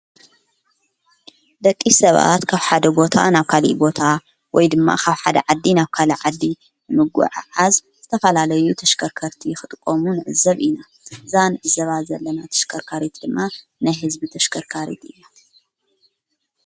ደቂ ሰባት ካብ ሓደ ቦታ ናብ ካል ቦታ ወይ ድማ ኻብ ሓደ ዓዲ ናብ ካልእ ዓዲ ምጐዓዓዝ ዘተፋላለዩ ተሽከርከርቲ ኽድቆሙን እዘብ ኢና ዛን ዘባ ዘለና ተሽከርካሬት ድማ ነይ ሕዝቢ ተሽከርካርት ኢና::